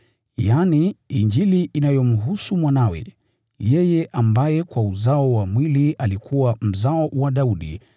yaani, Injili inayomhusu Mwanawe, yeye ambaye kwa uzao wa mwili alikuwa mzao wa Daudi,